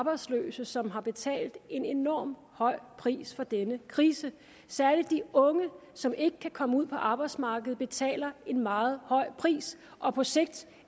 arbejdsløse som har betalt en enormt høj pris for denne krise særlig de unge som ikke kan komme ud på arbejdsmarkedet betaler en meget høj pris og på sigt